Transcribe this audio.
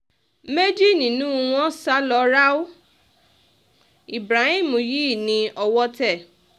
méjì nínú wọn sá lọ ráú ibrahim yìí ní owó tẹ̀